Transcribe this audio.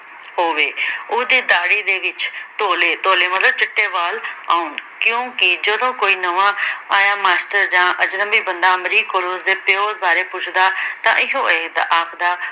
ਹੋਵੇ। ਉਦੀ ਦਾਹੜੀ ਦੇ ਵਿਚ ਧੋਲੇ, ਧੋਲੇ ਮਤਲਬ ਚਿੱਟੇ ਵਾਲ਼ ਆਉਣ। ਕਿਉਂਕਿ ਜਦੋਂ ਕੋਈ ਨਵਾਂ ਆਇਆ ਮਾਸਟਰ ਜਾਂ ਅਜਨਬੀ ਬੰਦਾ ਅਮਰੀਕ ਕੋਲ ਉਸਦੇ ਪਿਉ ਬਾਰੇ ਪੁੱਛਦਾ ਤਾਂ ਇਹੋ ਇਹ ਆਖਦਾ